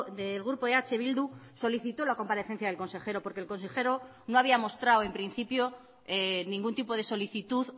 del grupo eh bildu solicitó la comparecencia del consejero porque el consejero no había mostrado en principio ningún tipo de solicitud